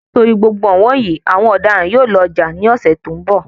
Nitori gbogbo ọ̀wọ́n yìí, àwọn ọ̀daràn yóò lọ jà ní ọsẹ tó n bọ.